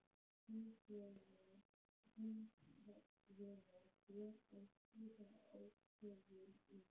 Hins vegar ber að skýra ákvæðin í